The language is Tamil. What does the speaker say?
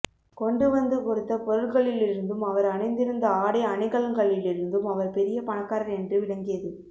கொண்டு வந்து கொடுத்த பொருள்களிலிருந்தும் அவர் அணிந்திருந்த ஆடை அணிகலன்களிலிருந்தும் அவர் பெரிய பணக்காரர் என்று விளங்கியது